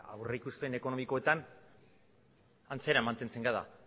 aurrikuspen ekonomikoetan antzera mantentzen gara